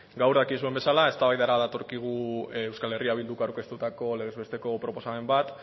gaur dakizuen bezala eztabaidara datorkigu euskal herria bilduk aurkeztutako legez besteko proposamen bat